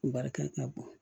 Barika ka bon